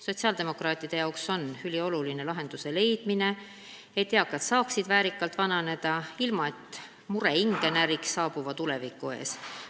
Sotsiaaldemokraatide jaoks on ülioluline leida lahendus, et eakad saaksid väärikalt vananeda, ilma et nende hinge näriks mure tuleviku ees.